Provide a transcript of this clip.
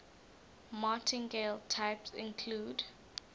martingale types include